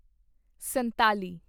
ਸੰਤਾਲੀ